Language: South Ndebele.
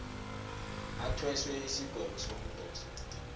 athweswe isigwebo sokudosa